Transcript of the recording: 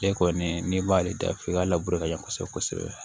Ale kɔni n'i b'ale da f'i ka laburu ka ɲɛ kosɛbɛ kosɛbɛ